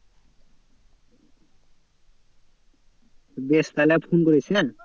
বেশ তাহলে আর ফোন করিস হ্যাঁ।